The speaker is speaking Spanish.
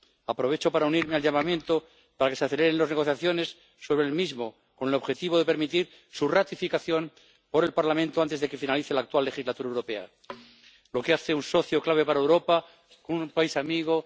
Aprovecho para unirme al llamamiento para que se aceleren las negociaciones sobre el Acuerdo, con el objetivo de permitir su ratificación por el Parlamento antes de que finalice la actual legislatura europea, lo que hace de él un socio clave para Europa, un país amigo.